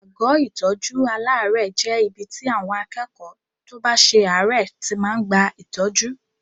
Àgọ́ ìtọ́jú aláàárẹ̀ jẹ́ ibi tí àwọn akẹ́kọ̀ọ́ tó bá ṣe àárẹ̀ tí máa ń gba ìtọ́jú.